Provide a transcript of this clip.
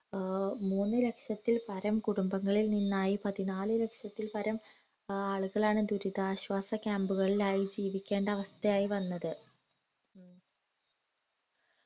ഏർ മൂന്നുലക്ഷത്തിൽ പരം കുടുംബങ്ങളിൽ നിന്നായി പതിനാല് ലക്ഷത്തിൽ പരം ആളുകളാണ് ദുരിതാശ്വാസ camp കളിലായി ജീവിക്കേണ്ട അവസ്ഥയായി വന്നത്